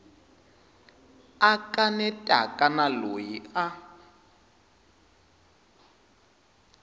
a kanetaka na loyi a